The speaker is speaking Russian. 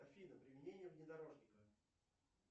афина применение внедорожника